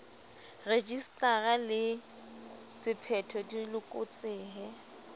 rejisetara le sephetho di loketse